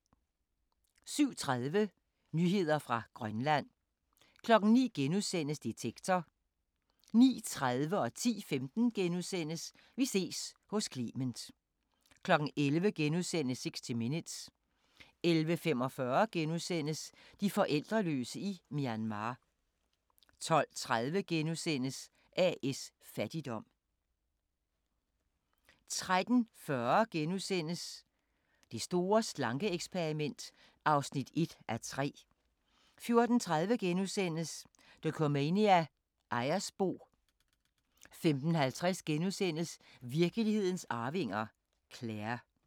07:30: Nyheder fra Grønland 09:00: Detektor * 09:30: Vi ses hos Clement * 10:15: Vi ses hos Clement * 11:00: 60 Minutes * 11:45: De forældreløse i Myanmar * 12:30: A/S Fattigdom * 13:40: Det store slanke-eksperiment (1:3)* 14:30: Dokumania: Ejersbo * 15:50: Virkelighedens arvinger: Claire *